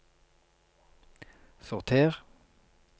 sorter